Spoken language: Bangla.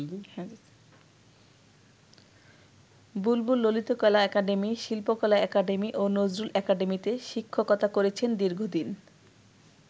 বুলবুল ললিতকলা একাডেমী, শিল্পকলা একাডেমী ও নজরুল একাডেমীতে শিক্ষকতা করেছেন দীর্ঘদিন।